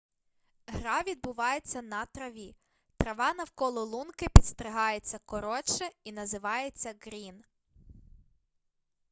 гра відбувається на траві трава навколо лунки підстригається коротше і називається ґрін